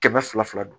Kɛmɛ fila fila dɔn